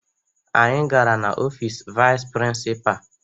Anyị gara n'ọfiisi vayịs prịnsịpaa